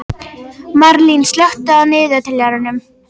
Marlín, slökktu á niðurteljaranum.